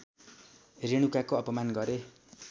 रेणुकाको अपमान गरे